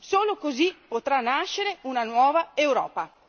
Solo così potrà nascere una nuova Europa.